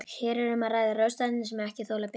Hér er um að ræða ráðstafanir sem ekki þola bið.